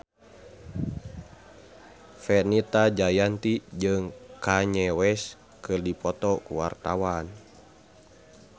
Fenita Jayanti jeung Kanye West keur dipoto ku wartawan